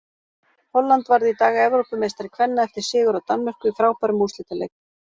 Holland varð í dag Evrópumeistari kvenna eftir sigur á Danmörku í frábærum úrslitaleik.